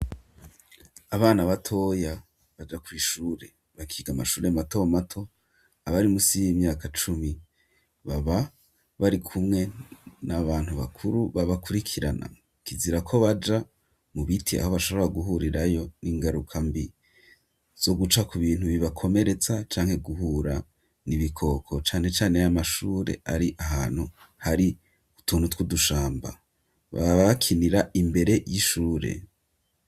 Abana batoya baja kw'ishure bakiga amashure mato mato abari musi y'imyaka cumi baba bari kumwe n'abantu bakuru babakurikirana kizira ko baja mu biti aho bashobora guhurirayo n'ingaruka mbi zo guca ku bintu bibakomeretsa canke guhura n'ibikoko cane cane y'amashure ari ahantu hari utuntu tw'udushamba baba bakinira imbere y'ishure